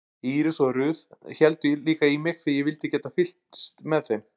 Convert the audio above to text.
Íris og Ruth héldu líka í mig því ég vildi geta fylgst með þeim.